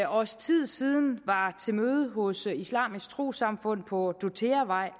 års tid siden var til møde hos islamisk trossamfund på dortheavej